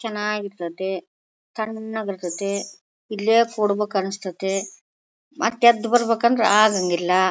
ಚೆನ್ನಾಗಿರ್ತತೇ ತಣ್ಣಗಿರ್ತತೇ ಇಲ್ಲೇ ಕೂಡಬೇಕು ಅನಿಷ್ಠತೆ ಮತ್ತೆ ಎದ್ದ್ ಬರ್ಬೇಕಂದ್ರೆ ಆಗಂಗಿಲ್ಲ.